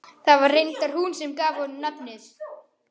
Það var reyndar hún sem gaf honum nafnið.